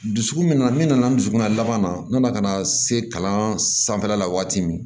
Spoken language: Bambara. Dusukun min na n'i nana dusukun na laban na n nana ka na se kalan sanfɛla la waati min